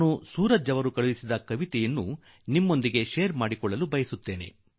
ಆದರೆ ಸೂರಜ್ ಜೀ ಬರೆದಿರುವ ಕವಿತೆಯನ್ನು ನಿಮ್ಮೊಡನೆ ಹಂಚಿಕೊಳ್ಳಬಯಸುವೆ